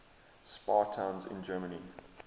spa towns in germany